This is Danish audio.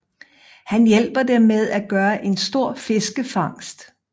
Han hjælper dem med at gøre en stor fiskefangst